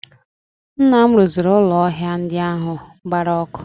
Nna m rụziri ụlọ ahịa ndị ahụ gbara ọkụ